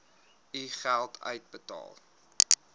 u geld uitbetaal